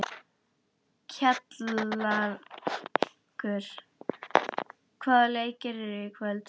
Kjallakur, hvaða leikir eru í kvöld?